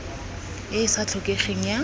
e e sa tlhokegeng ya